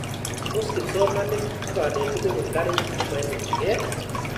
Tos kipsomanik ak kanetik kopun karik che maimuchikei?